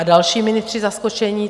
A další ministři zaskočení.